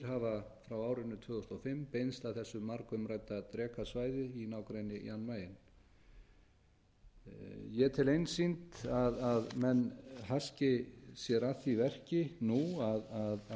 hafa frá árinu tvö þúsund og fimm beinst að þessu margumrædda drekasvæði í nágrenni jan mayen ég tel einsýnt að menn haski sér að því verki nú að